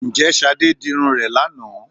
Ǹjẹ́ Ṣadé dirun rẹ̀ lánàá